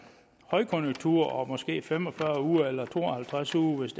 højkonjunktur og måske fem og fyrre uger eller to og halvtreds uger hvis